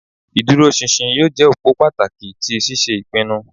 Ìdúróṣinṣin yóò je òpó pàtàkì ti ṣíṣe ìpinnu